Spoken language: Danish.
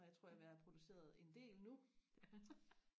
og jeg tror jeg er ved og have produceret en del nu